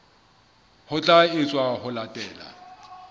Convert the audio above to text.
ho tla etswa ho latela